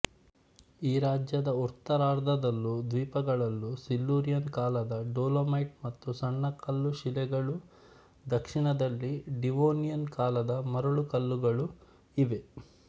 ಈ ರಾಜ್ಯದ ಉತ್ತರಾರ್ಧದಲ್ಲೂ ದ್ವೀಪಗಳಲ್ಲೂ ಸಿಲ್ಯೂರಿಯನ್ ಕಾಲದ ಡೊಲೊಮೈಟ್ ಮತ್ತು ಸುಣ್ಣಕಲ್ಲು ಶಿಲೆಗಳೂ ದಕ್ಷಿಣದಲ್ಲಿ ಡಿವೊನಿಯನ್ ಕಾಲದ ಮರಳುಕಲ್ಲುಗಳೂ ಇವೆ